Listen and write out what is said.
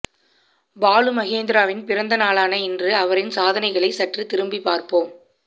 பாலுமகேந்திராவின் பிறந்த நாளான இன்று அவரின் சாதனைகளை சற்று திரும்பி பார்ப்போம்